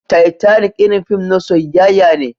Titanic irin fim na soyyaya ne.